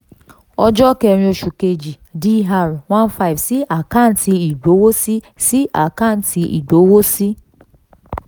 ọjọ́ kẹ́rin oṣù kejì dr one five sí àkáǹtì ìgbowósí sí àkáǹtì ìgbowósí